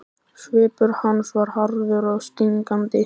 Svipur hans var harður og stingandi.